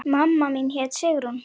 Mamma mín hét Sigrún.